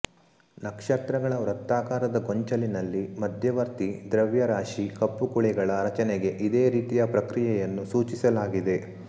ನಕ್ಷತ್ರಗಳ ವೃತ್ತಾಕಾರದ ಗೊಂಚಲಿನಲ್ಲಿ ಮಧ್ಯವರ್ತಿ ದ್ರವ್ಯರಾಶಿ ಕಪ್ಪು ಕುಳಿಗಳ ರಚನೆಗೆ ಇದೇ ರೀತಿಯ ಪ್ರಕ್ರಿಯೆಯನ್ನು ಸೂಚಿಸಲಾಗಿದೆ